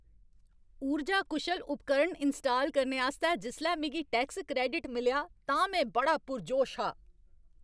ऊर्जा कुशल उपकरण इनस्टाल करने आस्तै जिसलै मिगी टैक्स क्रैडिट मिलेआ तां में बड़ा पुरजोश हा।